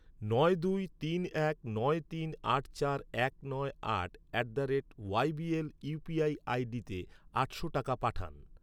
নয় দুই তিন এক নয় তিন আট চার এক নয় আট at the rate Y B L UPI আইডিতে আটশো টাকা পাঠান।